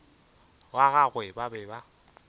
wa gagwe ba be ba